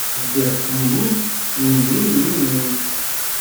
сбер мм ммм